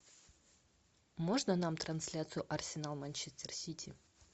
можно нам трансляцию арсенал манчестер сити